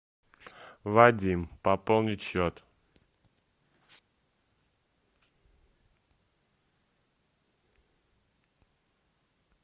вадим пополнить счет